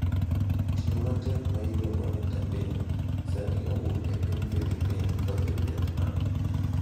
Tiyo mapek ma iluongo ni Tembin, sani owuok e piny Filipin kodhi Vietnam.